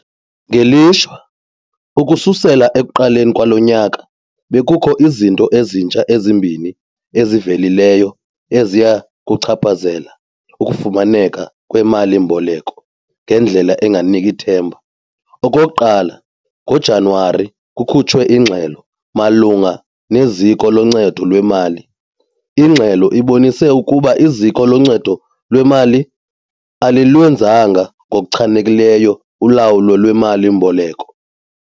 Ngelishwa, ukususela ekuqaleni kwalo nyaka bekukho izinto ezintsha ezimbini ezivelileyo eziya kuchaphazela ukufumaneka kweemali-mboleko ngendlela enganiki themba. Okokuqala, ngoJanyuwari kukhutshwe ingxelo malunga neziko loncedo lwemali. Ingxelo ibonise ukuba iziko loncedo lwemali alilwenzanga ngokuchanekileyo ulawulo lweemali-mboleko.